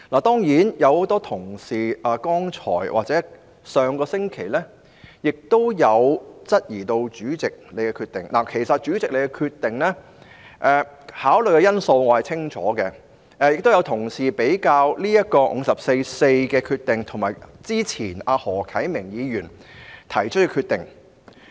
當然，很多同事剛才或上星期亦有質疑主席的決定——其實我清楚了解主席就其決定所考慮的因素——亦有同事將主席對《議事規則》第544條的決定與何啟明議員較早前提出的決定作比較。